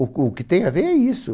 O o que tem a ver é isso.